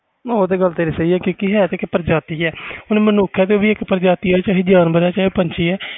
ਉਹ ਤੇ ਗੱਲ ਤੇਰੀ ਹੈ ਤੇ ਪ੍ਰਜਾਤੀ ਆ ਹੁਣ ਮਨੁੱਖ ਆ ਉਹ ਵੀ ਕਿ ਪ੍ਰਜਾਤੀ ਆ ਚਾਹੇ ਜਾਨਵਰ ਜਾ ਪੰਛੀ